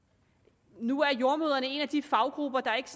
nu tilhører jordemødrene en af de faggrupper der ikke